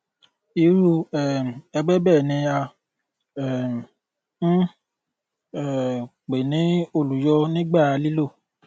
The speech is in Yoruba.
irú um ẹgbẹ bẹẹ ni à um ń um pè ní olùyọ nígbà lílò